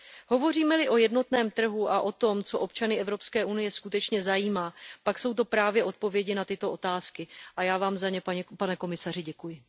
Hovoříme li o jednotném trhu a o tom, co občany Evropské unie skutečně zajímá, pak jsou to právě odpovědi na tyto otázky, a já Vám za ně, pane komisaři, děkuji.